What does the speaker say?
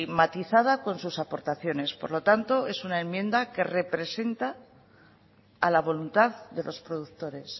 matizadas con sus aportaciones por lo tanto es una enmienda que representa a la voluntad de los productores